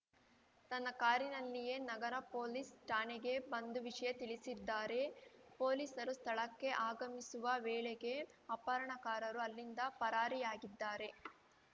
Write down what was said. ತನ್ನ ಕಾರಿನಲ್ಲಿಯೇ ನಗರ ಪೊಲೀಸ್‌ ಠಾಣೆಗೆ ಬಂದು ವಿಷಯ ತಿಳಿಸಿದ್ದಾರೆ ಪೊಲೀಸರು ಸ್ಥಳಕ್ಕೆ ಆಗಮಿಸುವ ವೇಳೆಗೆ ಅಪಹರಣಕಾರರು ಅಲ್ಲಿಂದ ಪರಾರಿಯಾಗಿದ್ದಾರೆ